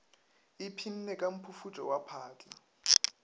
ipshinne ka mphufutšo wa phatla